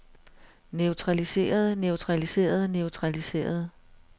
neutraliserede neutraliserede neutraliserede